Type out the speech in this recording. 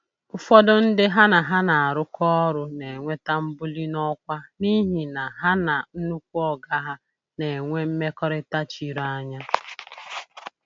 Ụfọdụ ndị ha na ha na-arụkọ ọrụ na-enweta mbuli n'ọkwa n'ihi na ha na "nnukwu oga ha" na-enwe mmekọrịta chiri anya.